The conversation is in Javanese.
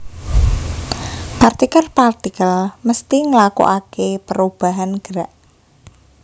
Partikel partikel mésti ngélakoakè pérobahan gerak